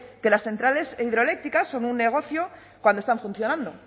que las centrales hidroeléctricas son un negocio cuando están funcionando